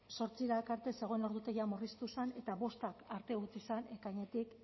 zortziak arte zegoen ordutegia murriztu zen eta bostak arte utzi zen ekainetik